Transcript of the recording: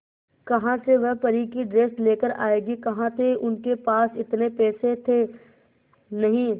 कहां से वह परी की ड्रेस लेकर आएगी कहां थे उनके पास इतने पैसे थे नही